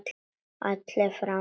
Allir fram!